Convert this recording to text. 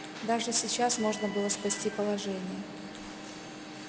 даже сейчас можно было спасти положение